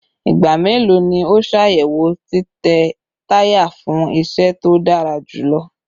Igba melo ni o ṣayẹwo titẹ taya fun iṣẹ to dara julọ?